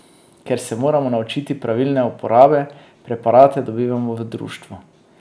Ker se moramo naučiti pravilne uporabe, preparate dobimo v društvu.